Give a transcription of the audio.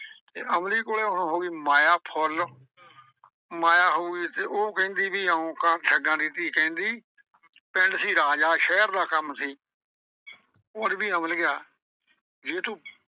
ਅਮਲੀ ਕੋਲੇ ਹੁਣ ਹੋ ਗਈ ਫੁੱਲ ਮਾਇਆ ਹੋ ਗਈ ਤੇ ਉਹ ਕਹਿੰਦੀ ਵੀ ਇਉਂ ਕਰ ਠੱਗਾਂ ਦੀ ਧੀ ਕਹਿੰਦੀ ਪਿੰਡ ਸੀ ਰਾਜਾ ਸ਼ਹਿਰ ਦਾ ਕੰਮ ਸੀ ਆਂਹਦੀ ਅਮਲੀਆ ਜੇ ਤੂੰ।